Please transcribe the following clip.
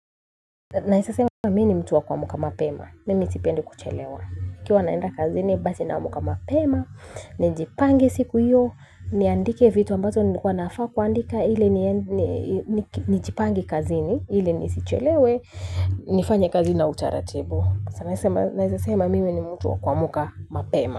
Naweza sema mimi ni mtu wa kuamka mapema. Mimi sipendi kuchelewa. Ikiwa naenda kazini basi naamka mapema. Nijipange siku hiyo. Niandike vitu ambazo nilikuwa nafaa kuandika. Hili nijipange kazini. Ili nisichelewe. Nifanye kazi na utaratibu. Naweza sema mimi ni mtu wa kuamka mapema.